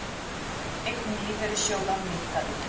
Eign lífeyrissjóða minnkaði